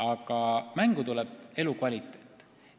Aga mängu tuleb elukvaliteet.